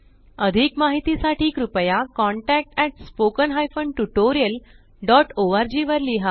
अधिक माहिती साठी कृपया contactspoken tutorialorg वर लिहा